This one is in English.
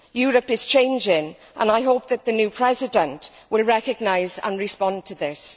Europe is changing and I hope that the new President will recognise and respond to this.